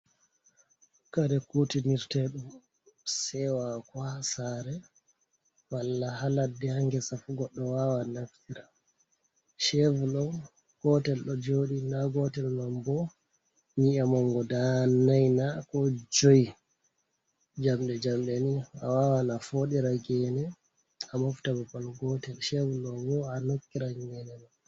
Kare kuutiniryeeɗum seewaaku ha saare walla ha ladde ha ngesa fu goɗɗo waawa naftira. Ceevul ɗo gootel ɗo jooɗi ndaa gootel man bo nyii’e man gudaa nayi na koo joy, jamɗe-jamɗe nii, a waawan a fooɗira geene a mofta bbaal gootel, ceevul man boo a nokkiran geene ma.